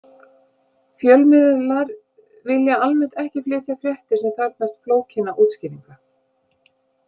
Fjölmiðlar vilja almennt ekki flytja fréttir sem þarfnast flókinna útskýringa.